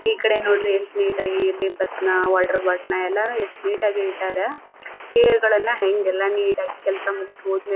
ಈಕಡೆ ನೋಡ್ರಿ ಎಷ್ಟು ನೀಟ್ ಆಗಿ ಪೇಪರ್ಸ್ ನ ವಾಟರ್ ಬಾಟಲ್ ನ ಎಲ್ಲಾನು ಎಷ್ಟು ನೀಟ್ ಆಗಿ ಇಟ್ಟರ. ಚೇರ್ ಗಳನ್ನ ಹೆಂಗ್ ಎಲ್ಲ ನೀಟ್ ಆಗಿ ಕೆಲಸ ಮುಗಿದ್ ಹೋದ್ ಮೇಲೆ--